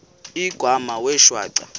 igama wee shwaca